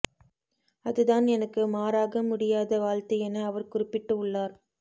அதுதான் எனக்கு மாறாக முடியாத வாழ்த்து என அவர் குறிப்பிட்டு உள்ளார்